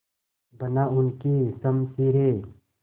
बना उनकी शमशीरें